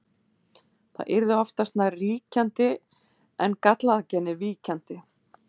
Það yrði oftast nær ríkjandi en gallaða genið víkjandi.